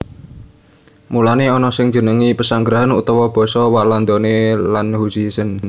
Mulané ana sing njenengi pesanggrahan utawa basa Walandané landhuizen